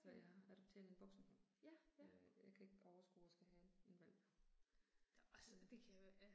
Så jeg adopterede en voksenhund. Øh jeg kan ikke overskue at skal have en en hvalp, øh